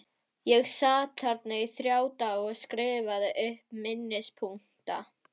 Ég sat þarna í þrjá daga og skrifaði upp minnispunkta.